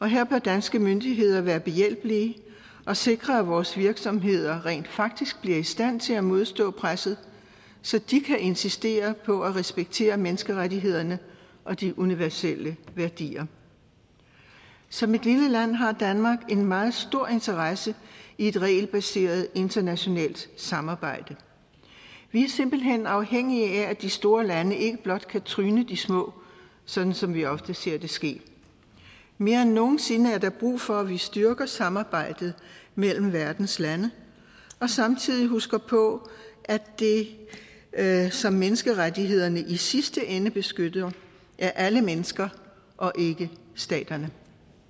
her bør danske myndigheder være behjælpelige og sikre at vores virksomheder rent faktisk bliver i stand til at modstå presset så de kan insistere på at respektere menneskerettighederne og de universelle værdier som et lille land har danmark en meget stor interesse i et regelbaseret internationalt samarbejde vi er simpelt hen afhængige af at de store lande ikke blot kan tryne de små sådan som vi ofte ser det ske mere end nogen sinde er der brug for at vi styrker samarbejdet mellem verdens lande og samtidig husker på at som menneskerettighederne i sidste ende beskytter er alle mennesker og ikke staterne